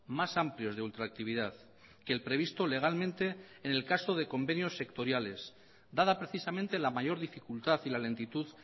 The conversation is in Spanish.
más amplios de ultractividad que el previsto legalmente en el caso de convenios sectoriales dada precisamente la mayor dificultad y la lentitud